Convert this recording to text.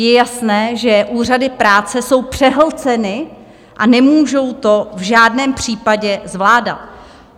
Je jasné, že úřady práce jsou přehlceny a nemůžou to v žádném případě zvládat.